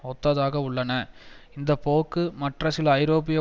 ஒத்ததாக உள்ளன இந்த போக்கு மற்ற சில ஐரோப்பிய